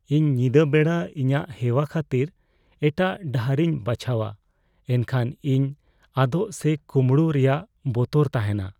ᱤᱧ ᱧᱤᱫᱟᱹ ᱵᱮᱲᱟ ᱤᱧᱟᱹᱜ ᱦᱮᱣᱟ ᱠᱷᱟᱹᱛᱤᱨ ᱮᱴᱟᱜ ᱰᱟᱦᱟᱨᱤᱧ ᱵᱟᱪᱷᱟᱣᱟ ᱮᱱᱠᱷᱟᱱ ᱤᱧ ᱟᱫᱚᱜ ᱥᱮ ᱠᱳᱢᱲᱳᱜ ᱨᱮᱭᱟᱜ ᱵᱚᱛᱚᱨ ᱛᱟᱦᱮᱱᱟ ᱾